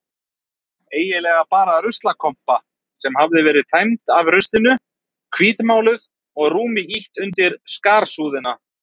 Eiginlega bara ruslakompa sem hafði verið tæmd af ruslinu, hvítmáluð og rúmi ýtt undir skarsúðina.